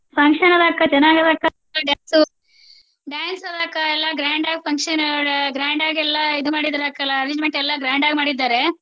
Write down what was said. function ಅದಾವ ಅಕ್ಕಾ ಚನ್ನಾಗಿ ಅದ ಅಕ್ಕಾ ಹಾಡು dance dance ಅದಾವ ಅಕ್ಕಾ ಎಲ್ಲಾ grand ಆಗಿ function grand ಆಗಿ ಎಲ್ಲಾ ಇದ ಮಾಡಿದಾರ ಅಕ್ಕಾ ಎಲ್ಲ arrangement ಎಲ್ಲಾ grand ಆಗಿ ಮಾಡಿದಾರೆ.